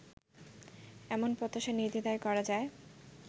এমন প্রত্যাশা নির্দ্বিধায় করা যায়